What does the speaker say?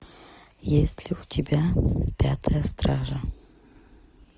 есть ли у тебя пятая стража